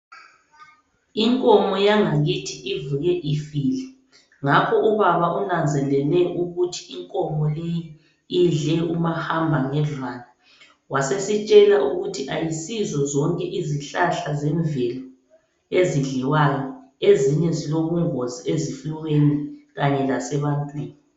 Inkomo yangakithi ivuke ifile. Ngakho ubaba unanzelele ukuthi inkomo leyi idle umahamba ngendlwane. Wasesitshela ukuthi ayisizo zonke izihlahla zemvelo ezidliwayo. Ezinye zilobungozi ezifuyweni kanye lasebantwini.